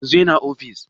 Yanzu yana ofis?